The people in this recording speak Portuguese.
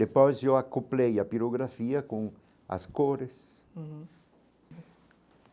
Depois eu acoplei a pirografia com as cores uhum.